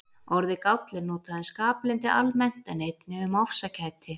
Orðið gáll er notað um skaplyndi almennt en einnig um ofsakæti.